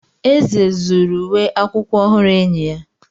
Eze zuru uwe akwụkwọ ọhụrụ enyi ya.